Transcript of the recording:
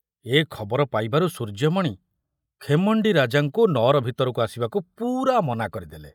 ଏ ଖବର ପାଇବାରୁ ସୂର୍ଯ୍ୟମଣି ଖେମଣ୍ଡି ରାଜାଙ୍କୁ ନଅର ଭିତରକୁ ଆସିବାକୁ ପୂରା ମନା କରିଦେଲେ।